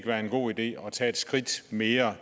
være en god idé at tage et skridt mere